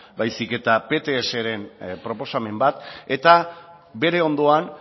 baizik eta ptsaren proposamen bat eta bere ondoan